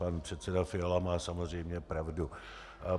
Pan předseda Fiala má samozřejmě pravdu.